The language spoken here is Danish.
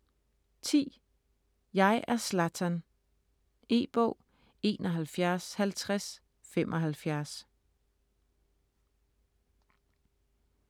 Jeg er Zlatan E-bog 715075